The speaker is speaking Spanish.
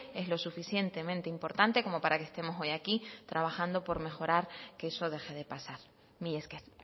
es lo suficientemente importante como para que estemos hoy aquí trabajando por mejorar que eso deje de pasar mila esker